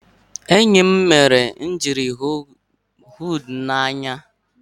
Enyi m mere m ijiri hu nudu n'anya.